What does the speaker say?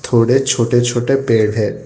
थोड़े छोटे छोटे पेड़ है।